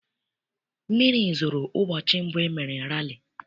Mmiri zoro ụbọchị mbụ e mere rali.